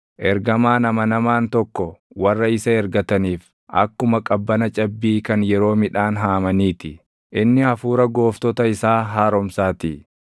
Ergamaan amanamaan tokko warra isa ergataniif akkuma qabbana cabbii kan yeroo midhaan haamanii ti; inni hafuura gooftota isaa haaromsaatii.